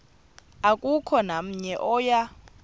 akukho namnye oya